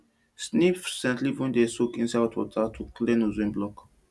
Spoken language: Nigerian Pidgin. sniff scent leaf wey dem soak inside hot water to clear nose wey block